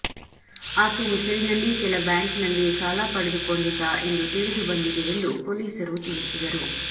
ಆಕೆ ಹೆಸರಿನಲ್ಲಿ ಕೆಲ ಬ್ಯಾಂಕ್ನಲ್ಲಿ ಸಾಲ ಕೊಡ ಪಡೆದುಕೊಂಡಿದ್ದ ಎಂದು ತಿಳಿದು ಬಂದಿದೆ ಎಂದು ಪೊಲೀಸರು ತಿಳಿಸಿದರು